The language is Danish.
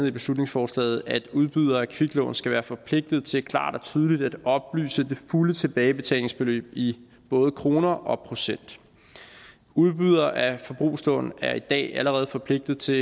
i beslutningsforslaget at udbydere af kviklån skal være forpligtet til klart og tydeligt at oplyse det fulde tilbagebetalingsbeløb i både kroner og procent udbydere af forbrugslån er i dag allerede forpligtet til